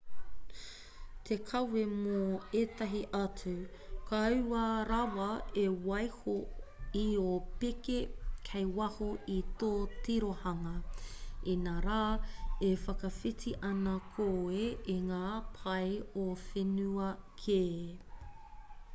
te kawe mō ētahi atu kaua rawa e waiho i ō pēke kei waho i tō tirohanga inarā e whakawhiti ana koe i ngā pae o whenua kē